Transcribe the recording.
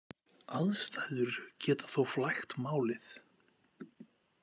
Aðstæður geta þó flækt málið.